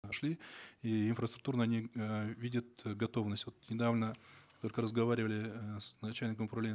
нашли и инфраструктурно они э видят э готовность вот недавно только разговаривали э с начальником управления